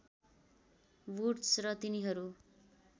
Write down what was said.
woods र तिनीहरू